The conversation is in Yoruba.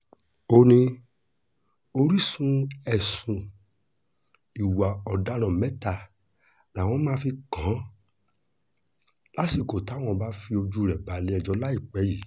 ó ní oríṣìí ẹ̀sùn ìwà ọ̀daràn mẹ́ta làwọn máa fi kàn án lásìkò táwọn bá fojú rẹ̀ balẹ̀-ẹjọ́ láìpẹ́ yìí